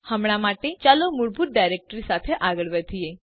હમણાં માટે ચાલો મૂળભૂત ડાયરેક્ટ્રી સાથે આગળ વધીએ